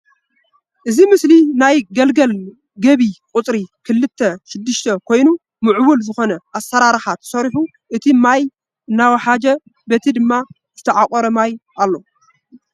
እዚ ምስሊ ናይ ግልገል ግቢ ቁፅሪ ክልተ6 ኮይኑ ምዕቡል ዝኮነ ኣሰራርሓ ተሰሪሑ እቲ ማይ እናወሓጀ በቲ ድማ ዝተዓቆረ ማይ ኣሎ።